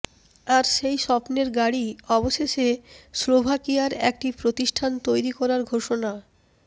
আর সেই স্বপ্নের গাড়ি অবশেষে স্লোভাকিয়ার একটি প্রতিষ্ঠান তৈরি করার ঘোষণা